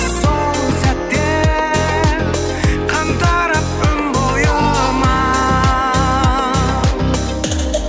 сол сәтте қан тарап өн бойыма